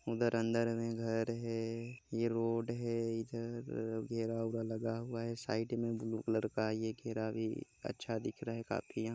उधर अंदर मे घर है ये रोड है इधर घेरा वेरा लगा हुआ है साइड मे ब्लू कलर का ये घेरा भी अच्छा दिख रहा है काफी यहाँ--